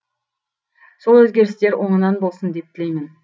сол өзгерістер оңынан болсын деп тілеймін